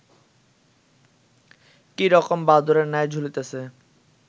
কী রকম বাদুড়ের ন্যায় ঝুলিতেছে